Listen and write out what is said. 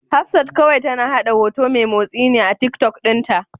Hafsat kawai tana haɗa hoto mai motsi ne a Tiktok ɗinta.